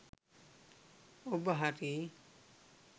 ඔබ හරි.